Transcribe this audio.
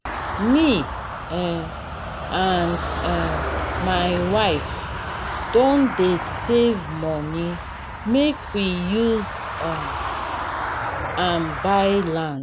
me um and um my wife don dey save moni make we use um am buy land.